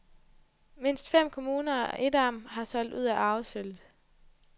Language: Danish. Mindst fem kommuner og et amt har solgt ud af arvesølvet.